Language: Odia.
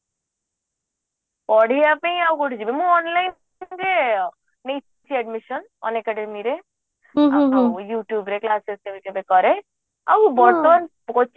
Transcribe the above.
ପଢିବା ପାଇଁ ଆଉ କୋଉଠିକି ଯିବି ମୁଁ online session ରେ ନେଇଛି admission unacademy ରେ ଆଉ youtube ରେ classes କେବେ କେବେ କରେ ଆଉ ବର୍ତ୍ତମାନ